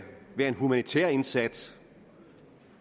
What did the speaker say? være en humanitær indsats